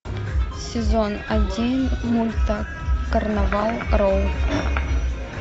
сезон один мульта карнавал роу